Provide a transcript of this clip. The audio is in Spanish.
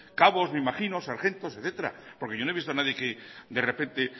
cabos me imagino sargentos etcétera porque yo no he visto a nadie que de repente